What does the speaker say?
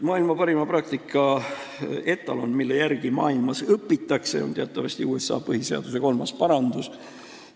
Maailma parima praktika etalon, mille järgi maailmas õpitakse, on teatavasti USA põhiseaduse kolmas parandus.